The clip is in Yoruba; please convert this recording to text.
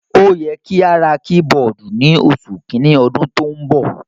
Ó yẹ kí a ra kí-bọọ̀dù ní oṣù kìíní ọdún tó ń bọ̀.